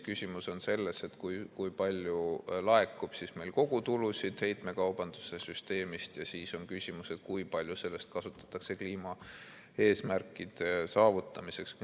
Küsimus on selles, kui palju laekub meil kogutulusid heitmekaubanduse süsteemist, ja siis on küsimus, kui palju sellest kasutatakse kliimaeesmärkide saavutamiseks.